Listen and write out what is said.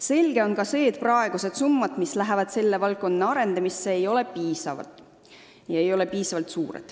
Selge on ka see, et praegused summad, mis lähevad selle valdkonna arendamisse, ei ole piisavad.